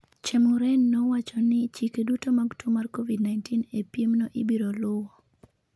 Chemuren ne owacho ni chike duto mag tuo mar Covid-19 e piemno ibiro luwo.